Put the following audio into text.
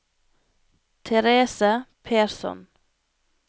Therese Persson